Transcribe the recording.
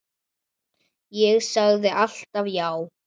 Ég sagði alltaf já.